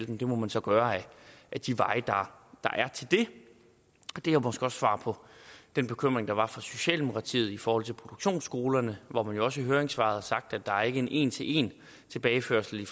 dem det må man så gøre ad de veje der er til det det er måske også svar på den bekymring der var fra socialdemokratiets side i forhold til produktionsskolerne hvor man jo også i høringssvaret har sagt at der ikke er en en til en tilbageførsel i